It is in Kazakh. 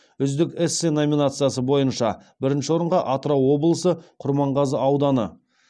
үздік эссе номинациясы бойынша бірінші орынға атырау облысы құрманғазы ауданы